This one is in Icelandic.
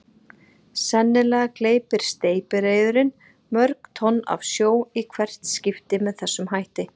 Sennilega gleypir steypireyðurin mörg tonn af sjó í hvert skipti með þessum hætti.